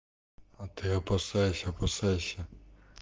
а ты опасайся опасайся